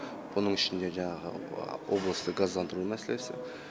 бұның ішінде жаңағы облысты газдандыру мәселесі